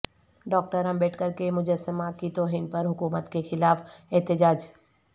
doctor Ambedkar کے مجسمہ کی توہین پر حکومت کے خلاف احتجاج